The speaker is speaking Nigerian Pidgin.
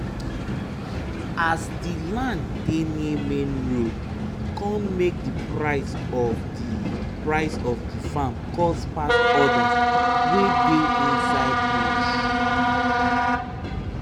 as the land dey near main road con make the price of the price of the farm cost pass others wey dey inside bush.